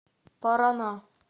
парана